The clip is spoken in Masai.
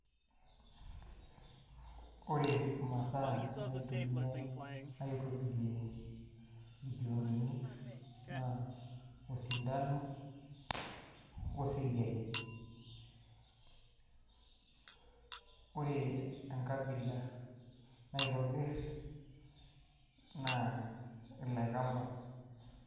Ore imasaa naitumiai aitobirie irkiondoni naa osindano oseyiai. Ore enkabila naitobir niloikamba